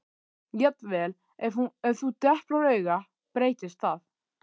Jafnvel ef þú deplar auga breytist það.